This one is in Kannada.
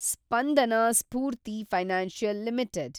Spandana Sphoorty financial limited